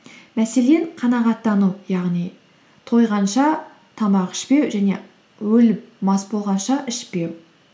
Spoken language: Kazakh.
мәселен қанағаттану яғни тойғанша тамақ ішпеу және өліп мас болғанша ішпеу